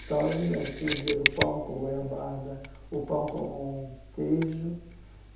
Então, eu me lembro, tinha o dia do pão com goiabada, o pão com queijo.